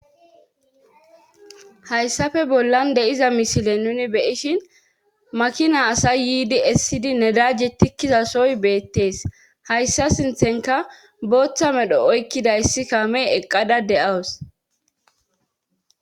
hayssafe bollan deiza mishile nuni beyishin makina asay yiidi essidi nedajje tikkizasoy beettees hayssa sinthenka booththa medho oykkidayssi kame eqqada de7awus